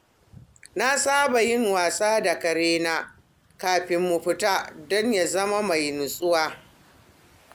Na saba yin wasa da karena kafin mu fita don ya zama mai natsuwa.